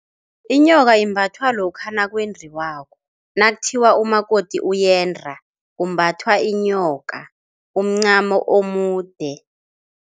Inyoka imbathwa lokha nakwendiwako nakuthiwa umakoti uyenda. Kumbathwa inyoka umncamo omude.